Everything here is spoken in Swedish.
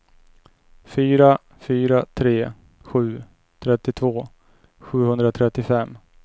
fyra fyra tre sju trettiotvå sjuhundratrettiofem